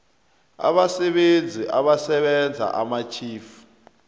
abasebenzi abasebenza amatjhifu